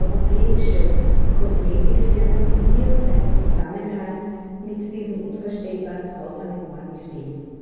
europäische Kosmetikfirmen in irgendeinem Zusammenhang mit diesen unvorstellbar grausamen Morden stehen.